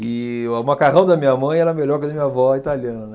E o macarrão da minha mãe era melhor que o da minha avó, italiana, né.